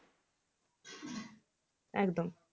একদম